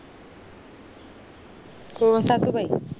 कोण सासूबाई